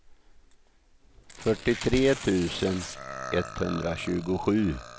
fyrtiotre tusen etthundratjugosju